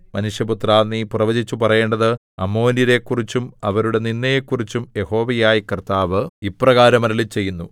മനുഷ്യപുത്രാ നീ പ്രവചിച്ചു പറയേണ്ടത് അമ്മോന്യരെക്കുറിച്ചും അവരുടെ നിന്ദയെക്കുറിച്ചും യഹോവയായ കർത്താവ് ഇപ്രകാരം അരുളിച്ചെയ്യുന്നു